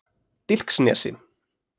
Dilksnesi